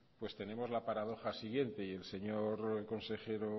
tenemos la paradoja siguiente y el señor consejero